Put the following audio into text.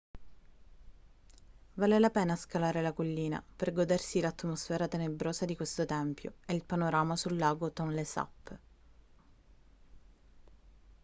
vale la pena scalare la collina per godersi l'atmosfera tenebrosa di questo tempio e il panorama sul lago tonlé sap